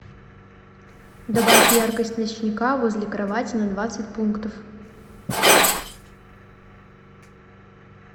добавь яркость ночника возле кровати на двадцать пунктов